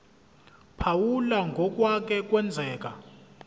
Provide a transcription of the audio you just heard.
phawula ngokwake kwenzeka